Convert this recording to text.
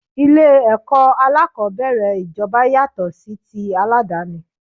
Ilé ẹ̀kọ́ alákòbẹ̀rẹ̀ ijoba yàtọ̀ sí ti aládàni.